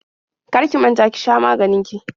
Kar ki manta ki sha maganin ki.